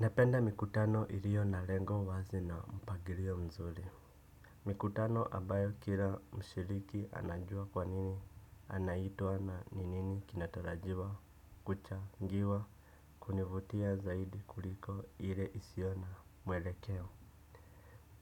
Napenda mikutano ilio na lengo wazi na mpagilio mzuri. Mikutano ambayo kila mshiriki anajua kwa nini anaitwa na ni nini kinatarajiwa kuchangiwa kunivutia zaidi kuliko ile isio na mwelekeo.